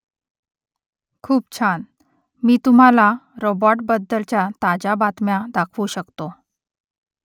खूप छान . मी तुम्हाला रोबॉटबद्दलच्या ताज्या बातम्या दाखवू शकतो